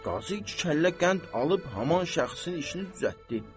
Qazı iki kəllə qənd alıb haman şəxsin işini düzəltdi.